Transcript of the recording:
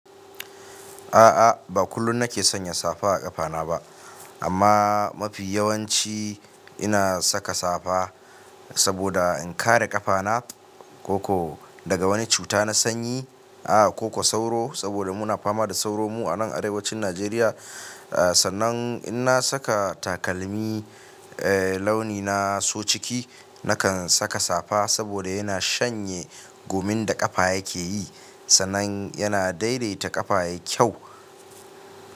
A'a, ba kullum na ke sanya safa a ƙafana ba, amma mafi yawanci ina saka safa saboda in kare ƙafana koko daga wani cuta na sanyi. A'a, koko sauro saboda muna fama da sauro mu a nan arewacin Najeriya. A sannan in na saka takalmi, eh launi na so ciki, na kan saka safa saboda yana shanye gumin da ƙafa yake yi. Sa'annan yana daidaita ƙafa yayi kyau.